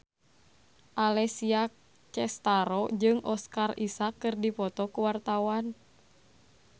Alessia Cestaro jeung Oscar Isaac keur dipoto ku wartawan